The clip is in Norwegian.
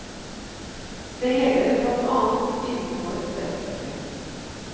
Det gjelder blant annet innenfor det offentlige.